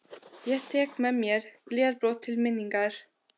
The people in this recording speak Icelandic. Ég tek með mér glerbrot til minningar.